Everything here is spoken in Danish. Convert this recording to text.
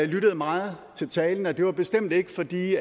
lyttede meget til talen og det var bestemt ikke fordi